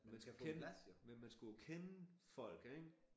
Man skulle kende men man skulle jo kende folk ik